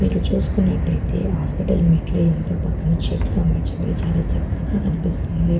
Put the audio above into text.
ఇటు చుసుకున్నట్టు అయితే హాస్పటల్ మెట్లు అయి పక్కన చెట్లు అమర్చబడి చాలా చక్కగా కనిపిస్తుంది.